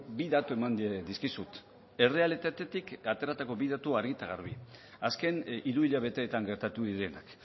bi datu eman dizkizut errealitatetik ateratako bi datu argi eta garbi azken hiruhilabeteetan gertatu direnak